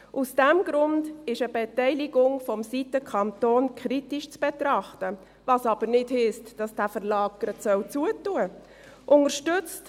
Aus diesem Grund ist eine Beteiligung vonseiten des Kantons kritisch zu betrachten – was aber nicht heisst, dass dieser Verlag gleich geschlossen werden soll.